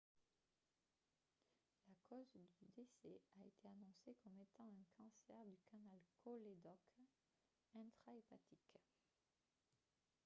la cause du décès a été annoncée comme étant un cancer du canal cholédoque intrahépatique